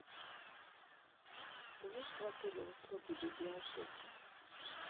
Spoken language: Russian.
есть в отеле услуги библиотеки